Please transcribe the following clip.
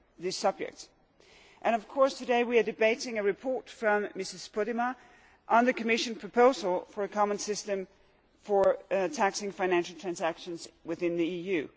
this subject, and today we are debating a report by Ms Podimata on the Commission proposal for a common system for taxing financial transactions within the EU.